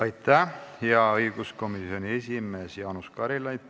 Aitäh, hea õiguskomisjoni esimees Jaanus Karilaid!